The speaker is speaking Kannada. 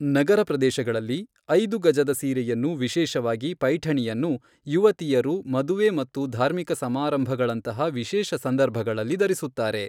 ನಗರ ಪ್ರದೇಶಗಳಲ್ಲಿ, ಐದು ಗಜದ ಸೀರೆಯನ್ನು, ವಿಶೇಷವಾಗಿ ಪೈಠಣಿಯನ್ನು, ಯುವತಿಯರು ಮದುವೆ ಮತ್ತು ಧಾರ್ಮಿಕ ಸಮಾರಂಭಗಳಂತಹ ವಿಶೇಷ ಸಂದರ್ಭಗಳಲ್ಲಿ ಧರಿಸುತ್ತಾರೆ.